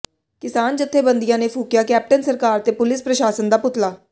ਕਿਸਾਨ ਜਥੇਬੰਦੀ ਨੇ ਫੂਕਿਆ ਕੈਪਟਨ ਸਰਕਾਰ ਤੇ ਪੁਲਿਸ ਪ੍ਰਸ਼ਾਸਨ ਦਾ ਪੁਤਲਾ